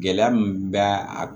Gɛlɛya min bɛ a